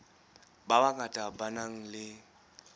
ba bangata ba nang le